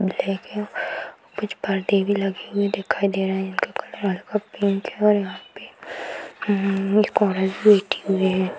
Black है कुछ परदे भी लगे हुए दिखाई दे रहे है इनका कलर हल्का पिंक है और यहां पे उम्म्म एक औरत बैठी हुई है।